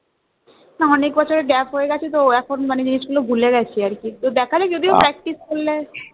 না অনেক বছরের gap হয়ে গেছে তো এখন মানে জিনিস গুলো ভুলে গেছি আর কি তো দেখা যাক যদি practice করলে